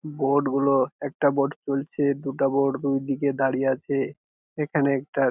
Boat গুলো একটা boat চলছে দুটা বোট দুই দিকে দাঁড়িয়ে আছে। এখানে একটা --